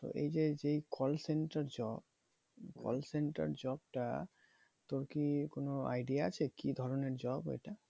এই যে যে call center job call center job টা তোর কি কোনো idea আছে কি ধরণের job এইটা?